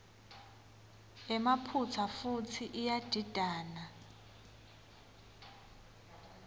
emaphutsa futsi iyadidana